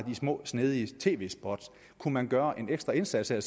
de små snedige tv spot kunne man gøre en ekstra indsats her